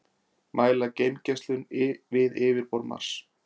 Mæla geimgeislun við yfirborð Mars.